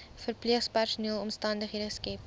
verpleegpersoneel omstandighede skep